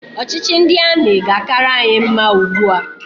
Ọchịchị ndị amị ga-akara anyị mma ugbua